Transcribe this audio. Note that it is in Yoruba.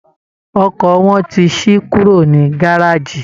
Ọkọ̀ wọn ti ṣí kúrú ní gáràjì